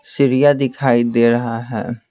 सीढ़िया दिखाई दे रहा है।